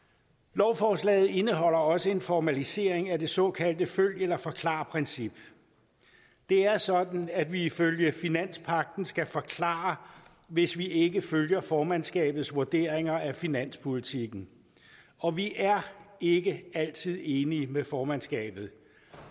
lovforslaget indeholder også en formalisering af det såkaldte følg eller forklar princip det er sådan at vi ifølge finanspagten skal forklare hvis vi ikke følger formandskabets vurderinger af finanspolitikken og vi er ikke altid enige med formandskabet